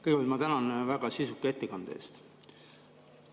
Kõigepealt ma tänan väga sisuka ettekande eest.